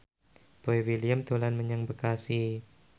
Boy William dolan menyang Bekasi